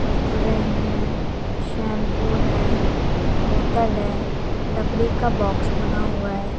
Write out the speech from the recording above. कुरकुरे हैं शैंपू है बोतल है लकड़ी का बॉक्स बना हुआ है।